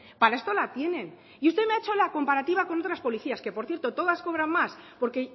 para esto la tienen y usted me ha hecho la comparativa con otras policías que por cierto todas cobran más porque